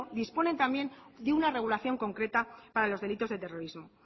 disponen también de una regulación concreta para los delitos de terrorismo